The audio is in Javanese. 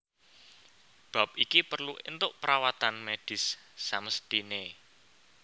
Bab iki perlu entuk perawatan medis samesthine